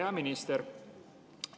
Hea minister!